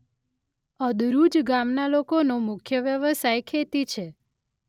અદરૂજ ગામના લોકોનો મુખ્ય વ્યવસાય ખેતી છે.